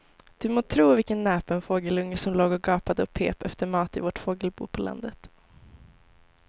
Du må tro vilken näpen fågelunge som låg och gapade och pep efter mat i vårt fågelbo på landet.